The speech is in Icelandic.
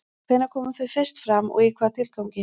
Hvenær komu þau fyrst fram og í hvaða tilgangi?